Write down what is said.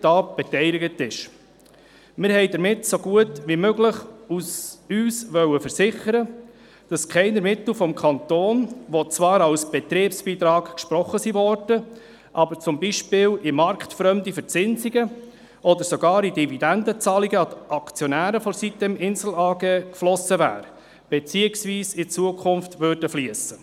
Damit wollten wir uns so gut wie möglich versichern, dass keinerlei Mittel des Kantons, die als Betriebsbeitrag gesprochen wurden, beispielsweise in marktfremde Verzinsungen oder sogar in Dividendenzahlungen an die Aktionäre der sitem-Insel AG geflossen sind beziehungsweise in Zukunft fliessen werden.